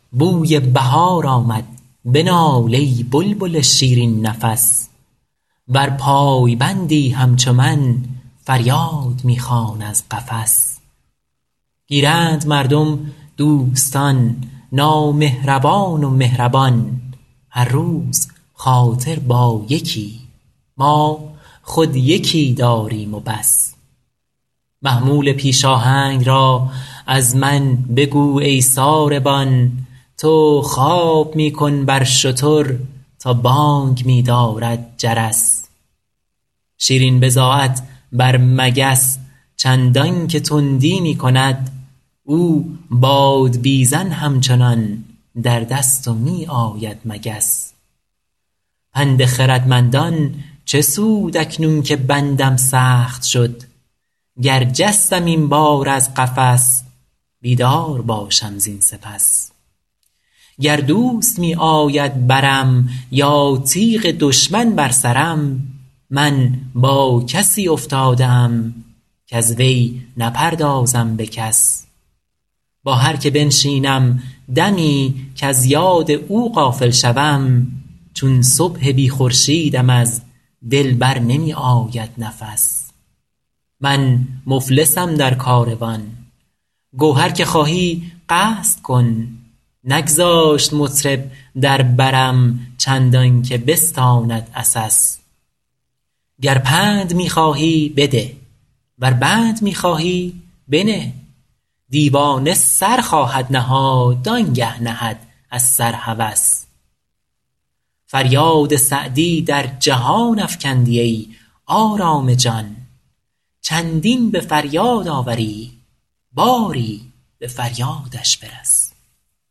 بوی بهار آمد بنال ای بلبل شیرین نفس ور پایبندی همچو من فریاد می خوان از قفس گیرند مردم دوستان نامهربان و مهربان هر روز خاطر با یکی ما خود یکی داریم و بس محمول پیش آهنگ را از من بگو ای ساربان تو خواب می کن بر شتر تا بانگ می دارد جرس شیرین بضاعت بر مگس چندان که تندی می کند او بادبیزن همچنان در دست و می آید مگس پند خردمندان چه سود اکنون که بندم سخت شد گر جستم این بار از قفس بیدار باشم زین سپس گر دوست می آید برم یا تیغ دشمن بر سرم من با کسی افتاده ام کز وی نپردازم به کس با هر که بنشینم دمی کز یاد او غافل شوم چون صبح بی خورشیدم از دل بر نمی آید نفس من مفلسم در کاروان گو هر که خواهی قصد کن نگذاشت مطرب در برم چندان که بستاند عسس گر پند می خواهی بده ور بند می خواهی بنه دیوانه سر خواهد نهاد آن گه نهد از سر هوس فریاد سعدی در جهان افکندی ای آرام جان چندین به فریاد آوری باری به فریادش برس